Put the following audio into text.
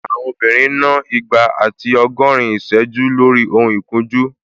Àwọn obìnrin ń ná igba àti ọgọ́rin ìsẹ́jú lórí ohun ìkunjú